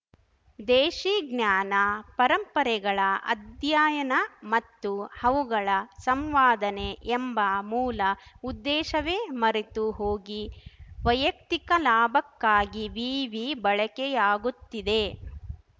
ದೇಶೀ ಜ್ಞಾನ ಪರಂಪರೆಗಳ ಅಧ್ಯಯನ ಮತ್ತು ಅವುಗಳ ಸಂವಾದನೆ ಎಂಬ ಮೂಲ ಉದ್ದೇಶವೇ ಮರೆತು ಹೋಗಿ ವೈಯಕ್ತಿಕ ಲಾಭಕ್ಕಾಗಿ ವಿವಿ ಬಳಕೆಯಾಗುತ್ತಿದೆ